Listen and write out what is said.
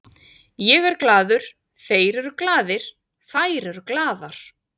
Ég er glaður, þeir eru glaðir, þær eru glaðar.